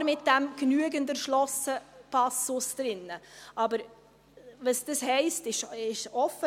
Klar ist dieser «genügend erschlossen»-Passus drin, aber was das heisst, ist offen.